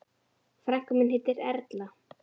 Frænka mín heitir Erla.